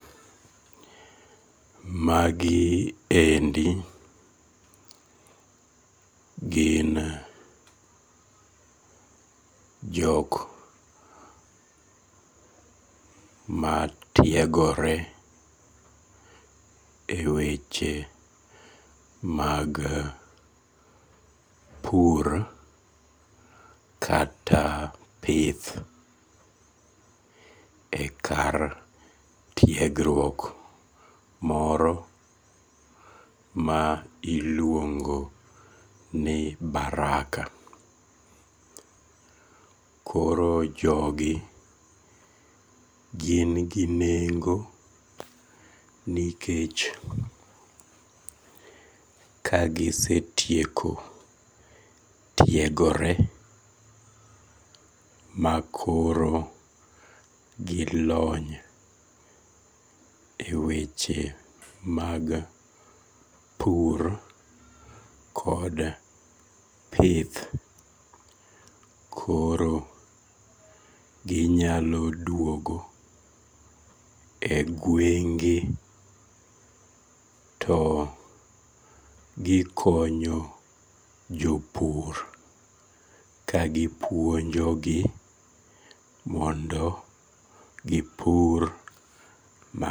Magi endi gin jok matiegore e weche mag pur kata pith e kar tiegruok moro ma iluongo ni baraka, koro jogi gin gi nengo ni kech kagisetieko tiegore ma koro gi lony e weche mag pur kod pith koro ginyalo duogo e gwenge to gikonyo jo pur kagipuonjogi mondo gipur ma